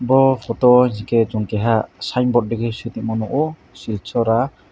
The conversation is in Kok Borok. bo photo hingke chung ke keha signboard dige sitongma nogo shil chhara .